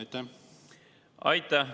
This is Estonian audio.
Aitäh!